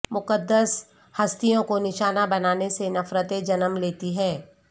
مقدس ہستیوں کو نشانہ بنانے سے نفرتیں جنم لیتی ہیں